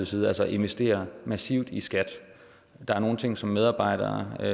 side altså at investere massivt i skat der er nogle ting som medarbejderne er